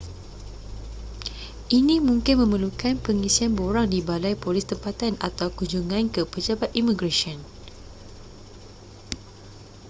ini mungkin memerlukan pengisian borang di balai polis tempatan atau kunjungan ke pejabat imigresen